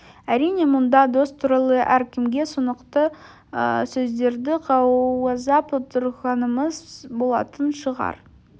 әрине мұнда дос туралы әркімге түсінікті сөздерді қаузап отырғанымыз болатын шығар